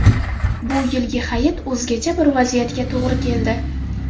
Bu yilgi hayit o‘zgacha bir vaziyatga to‘g‘ri keldi.